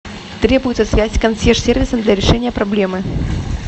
требуется связь с консьерж сервисом для решения проблемы